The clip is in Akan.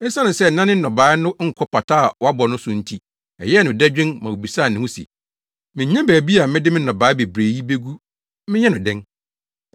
Esiane sɛ na ne nnɔbae no nkɔ pata a wabɔ no so nti ɛyɛɛ no dadwen ma obisaa ne ho se, ‘Minnya baabi a mede me nnɔbae bebrebe yi begu menyɛ no dɛn?’